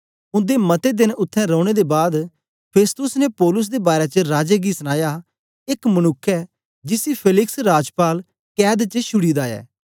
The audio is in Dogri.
उन्दे मते देन उत्थें रौने दे बाद फेस्तुस ने पौलुस दे बारै च राजे गी सनाया एक मनुक्ख ऐ जिसी फेलिक्स राजपाल कैद च छुड़ी दा ऐ